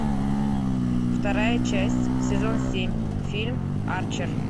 вторая часть сезон семь фильм арчер